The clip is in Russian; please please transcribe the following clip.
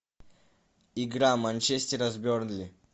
игра манчестера с бернли